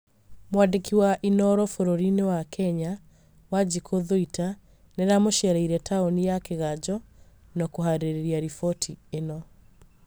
mwandĩki wa inooro bũrũrinĩ wa Kenya, wanjiku thũita nĩaramũcereire taũninĩ ya kĩganjo na kuharĩrĩria riboti ĩno